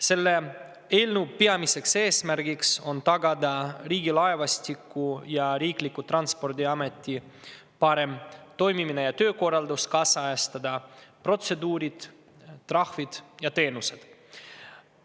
Selle eelnõu peamine eesmärk on tagada Riigilaevastiku ja Transpordiameti parem toimimine ja töökorraldus, ajakohastada protseduurid, trahvid ja teenused.